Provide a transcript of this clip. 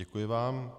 Děkuji vám.